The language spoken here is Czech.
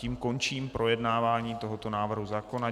Tím končím projednávání tohoto návrhu zákona.